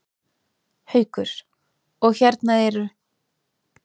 Haukur: Og hérna eru?